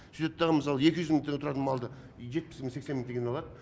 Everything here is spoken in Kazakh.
сүйтеді да мысалы екі жүз мың теңге тұратын малды жетпіс мың сексен мың теңгеден алады